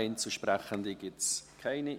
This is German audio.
Einzelsprechende gibt es keine.